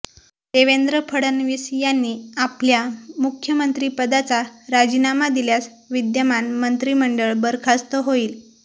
देवेंद्र फडणवीस यांनी आपल्या मुख्यमंत्रिपदाचा राजीनामा दिल्यास विद्यमान मंत्रिमंडळ बरखास्त होईल